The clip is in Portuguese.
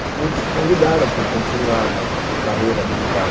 Porque eles convidaram para continuar na carreira militar.